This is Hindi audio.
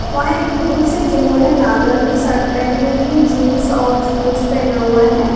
वह एक पुरुष जिन्होंने लाल रंग की शर्ट पहनी हुई है जींस और शूज पहना हुआ है।